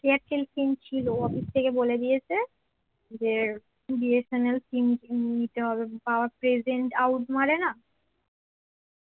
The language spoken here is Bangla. এয়ারটেল sim ছিল অফিস থেকে বলে দিয়েছে যে BSNL sim নিতে হবে বা present out মারে না